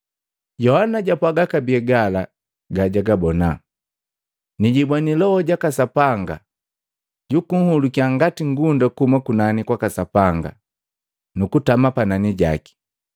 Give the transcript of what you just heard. Yohana japwaga kabee gala gajagabona, “Nijimbweni Loho jaka Sapanga jakahuluka ngati ngunda kuhuma kunani kwaka Sapanga nukutama panani jaki.